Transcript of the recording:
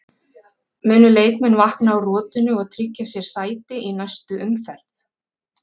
Munu leikmenn vakna úr rotinu og tryggja sér sæti í næstu umferð?